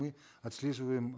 мы отслеживаем